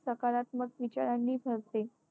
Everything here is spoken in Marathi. सकारात्मक विचारांनी भरते.